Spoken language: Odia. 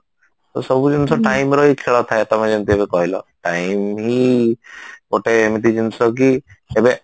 ତ ସବୁ ଜିନିଷ time ର ହି ଖେଳ ଥାଏ ତମେ ଯେମତି ଏବେ କହିଲ time ହି ଗୋଟେ ଏମତି ଜିନିଷ କି ସେବେ